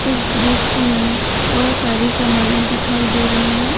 इस दृश्य में बहोत सारी समाने दिखाई दे रही है।